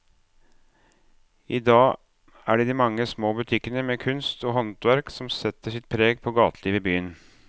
I dag er det de mange små butikkene med kunst og håndverk som setter sitt preg på gatelivet i byen.